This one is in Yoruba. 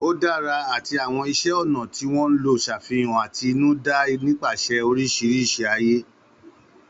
Ó dára àti àwọn iṣẹ́ ọnà tí wọ́n lò ń ṣàfihàn àtinúdá nípasẹ̀ oríṣiríṣi ààyè.